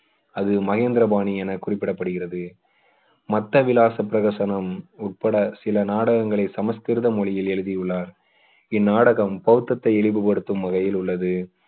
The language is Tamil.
அது மகேந்திரபாணி என குறிப்பிடப்படுகிறது மத்த விலாச பிரகசனம் உட்பட சில நாடகங்களை சமஸ்கிருத மொழியில் எழுதியுள்ளார் இந்நாடகம் இழிவுபடுத்தும் வகையில் உள்ளது